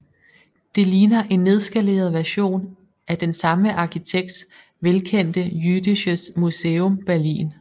Det ligner en nedskaleret version af den samme arkitekts velkendte Jüdisches Museum Berlin